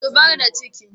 Zubar da ciki.